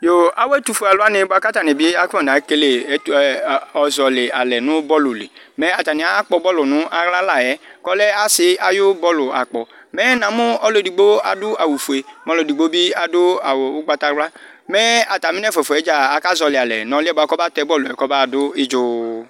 Yo! Awu ɛtʋfue auwani bʋakʋ atani akɔna zɔlɩ alɛ nʋ bɔlʋ li Mɛ atani ayakpɔ bɔlʋ nʋ aɣla layɛ, kʋ ɔlɛ ɔsɩ ayʋ bɔlʋ akpɔ Mɛ namu ɔlʋ edigbo adu awufue, kʋ edigbo bɩ adu awu ugbatawla Mɛ atami nʋ ɛfʋafʋa yɛ dza akazɔlɩ alɛ, nʋ ɔlʋ yɛ bʋakʋ ɔbatɛ bɔlʋ yɛ, kɔbaɣadu idzu